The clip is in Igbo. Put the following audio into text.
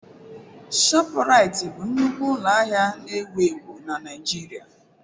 ShopuRitị bụ nnukwu ụlọ ahịa na-ewu ewu na Naịgiiria.